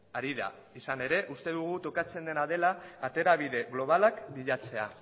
harira izan ere uste dugu tokatzen dena dela aterabide globalak bilatzea